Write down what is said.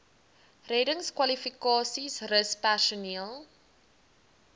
reddingskwalifikasies rus personeel